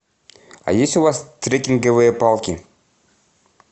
а есть у вас трекинговые палки